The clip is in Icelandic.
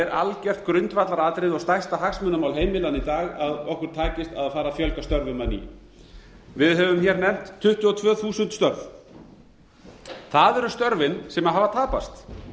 algjört grundvallaratriði og stærsta hagsmunamál heimilanna í dag að okkur takist að fara að fjölga störfum að nýju við höfum hér nefnt tuttugu og tvö þúsund störf það eru störfin sem hafa tapast